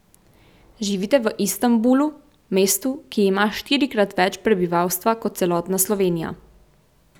Živite v Istanbulu, mestu, ki ima štirikrat več prebivalstva kot celotna Slovenija.